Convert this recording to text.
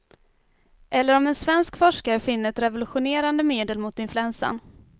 Eller om en svensk forskare finner ett revolutionerande medel mot influensan.